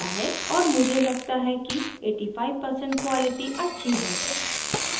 और मुझे लगता है कि 85% quality अच्छी है